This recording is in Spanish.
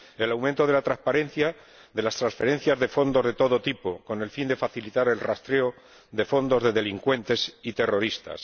el aumento de la transparencia de las transferencias de fondos de todo tipo, con el fin de facilitar el rastreo de fondos de delincuentes y terroristas